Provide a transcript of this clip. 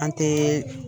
An tɛ